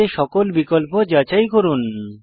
এতে সকল বিকল্প যাচাই করুন